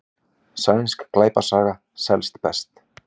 Sænsk glæpasaga selst best